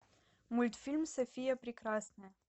мультфильм софия прекрасная